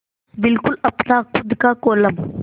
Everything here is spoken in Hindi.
बिल्कुल अपना खु़द का कोलम